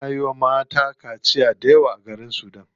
Ana yiwa mata dayawa kaciya a garin sudan.